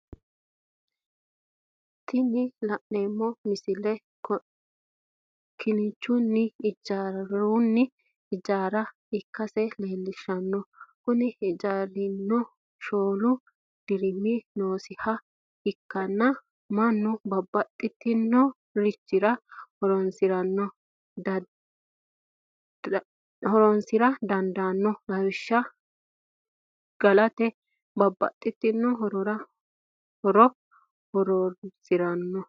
Tini la'neemo misile kinchunni ijjaaronni ijjaara ikkasi leelishano, koni ijjaarrirano shoolu deerinni noosiha ikkanna manu babbaxinorichira horonsira dandanno lawishaho galate babaxxitino horora horonsirano